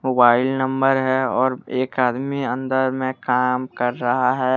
Mobile number है और एक आदमी अंदर में काम कर रहा है।